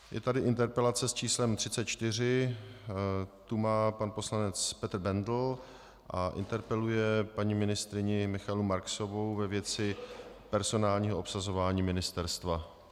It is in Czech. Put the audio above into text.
Je tady interpelace s číslem 34, tu má pan poslanec Petr Bendl a interpeluje paní ministryni Michaelu Marksovou ve věci personálního obsazování ministerstva.